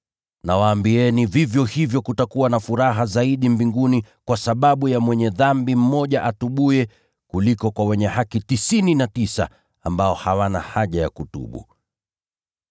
Nawaambieni, vivyo hivyo kutakuwa na furaha zaidi mbinguni kwa sababu ya mwenye dhambi mmoja atubuye, kuliko kwa wenye haki tisini na tisa ambao hawana haja ya kutubu.”